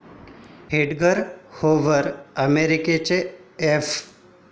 Edgar Hoover, अमेरिकेच्या F.